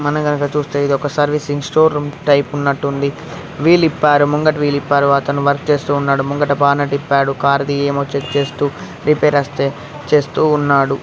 మనంగనక చుస్తే ఇదొక servicing store room type ఉన్నట్టుంది వీల్ విప్పారు ముంగిట వీల్ విప్పారు తర్వాత అతను వర్క్ చేస్తున్నాడు ముంగిట బానెట్ విప్పాడు కారుది ఏమో చెక్ చేస్తూ రిపేర్ వస్తే చేస్తూ ఉన్నాడు